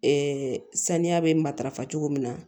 Ɛɛ saniya bɛ matarafa cogo min na